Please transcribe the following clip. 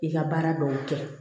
I ka baara dɔw kɛ